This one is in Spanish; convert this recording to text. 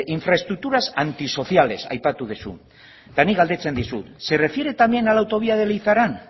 infraestructuras antisociales aipatu duzu eta nik galdetzen dizut se refiere también a la autovía de leizaran